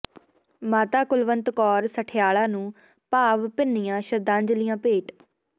ਮਾਤਾ ਕੁਲਵੰਤ ਕੌਰ ਸਠਿਆਲਾ ਨੂੰ ਭਾਵ ਭਿੰਨੀਆਂ ਸ਼ਰਧਾਂਜਲੀਆਂ ਭੇਟ